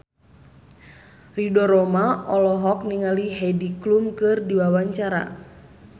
Ridho Roma olohok ningali Heidi Klum keur diwawancara